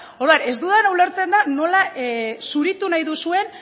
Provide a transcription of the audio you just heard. orduan ez dudana ulertzen da nola zuritu nahi duzuen